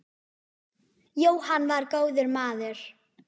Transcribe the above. Jóhann var góður maður.